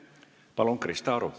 Palun, Krista Aru!